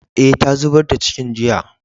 Eh, ta zubar da cikin jiya.